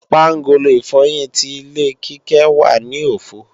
Pángolo ìfọyín ti ilé Kíkẹ́ wà ní òfo